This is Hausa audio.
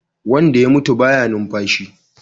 Wanda ya mutu baya numfashi